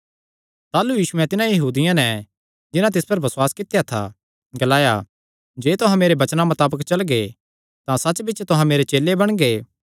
ताह़लू यीशुयैं तिन्हां यहूदियां नैं जिन्हां तिस पर बसुआस कित्या था ग्लाया जे तुहां मेरे वचनां मताबक चलगे तां सच्च बिच्च तुहां मेरे चेले बणगे